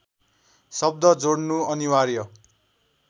शब्द जोड्नु अनिवार्य